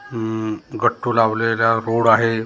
हम्म गट्टू लावलेला रोड आहे रो